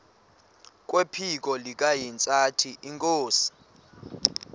kwephiko likahintsathi inkosi